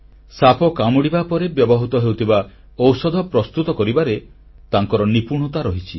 ସାପ କାମୁଡ଼ିବା ପରେ ବ୍ୟବହୃତ ହେଉଥିବା ଔଷଧ ପ୍ରସ୍ତୁତ କରିବାରେ ତାଙ୍କର ନିପୁଣତା ରହିଛି